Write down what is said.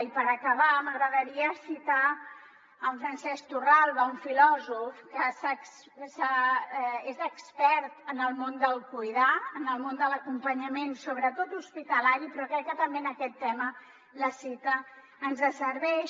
i per acabar m’agradaria citar en francesc torralba un filòsof que és expert en el món del cuidar en el món de l’acompanyament sobretot hospitalari però crec que també en aquest tema la cita ens serveix